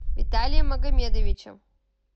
виталием магомедовичем